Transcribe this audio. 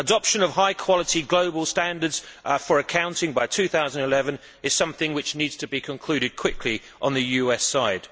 Adoption of high quality global standards for accounting by 2011 is something which needs to be concluded quickly on the US side.